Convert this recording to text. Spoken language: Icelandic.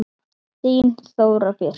Þín Þóra Björk.